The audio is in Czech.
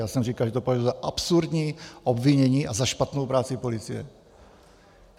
Já jsem říkal, že to považuji za absurdní obvinění a za špatnou práci policie.